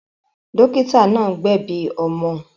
Dọ́kítá náà gbẹ̀bi ọmọ.